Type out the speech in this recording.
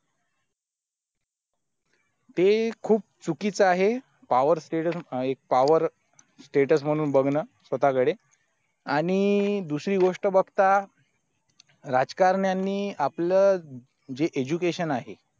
ते खूप चुकीचं आहे power status म्हणून बघणं स्वतःकडे आणि दुसरी गोष्ट राजकारण्यांनी आपलं जे education आहे